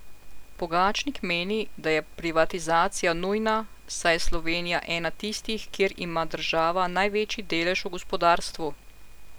Pogačnik meni, da je privatizacija nujna, saj je Slovenija ena tistih, kjer ima država največji delež v gospodarstvu.